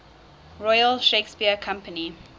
royal shakespeare company